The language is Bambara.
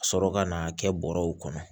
Ka sɔrɔ ka n'a kɛ bɔrɛw kɔnɔ